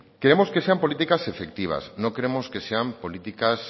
queremos que sean políticas efectivas no queremos que sean políticas